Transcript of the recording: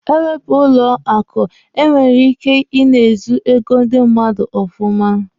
Ewepụ bank, e nwere ike ị na-ezu ego ndi mmadụ ọfụma.